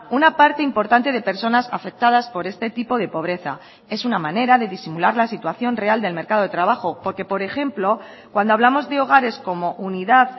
una parte importante de personas afectadas por este tipo de pobreza es una manera de disimular la situación real del mercado de trabajo porque por ejemplo cuando hablamos de hogares como unidad